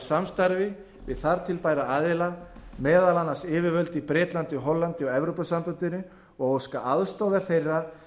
samstarfi við þar til bæra aðila meðal annars yfirvöld í bretlandi hollandi og evrópusambandinu og óska aðstoðar þeirra